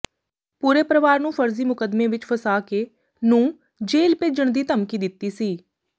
ਪੂਰੇ ਪਰਵਾਰ ਨੂੰ ਫਰਜ਼ੀ ਮੁਕੱਦਮੇ ਵਿਚ ਫਸਾ ਕੇ ਨੂੰ ਜੇਲ ਭੇਜਣ ਦੀ ਧਮਕੀ ਦਿੱਤੀ ਸੀ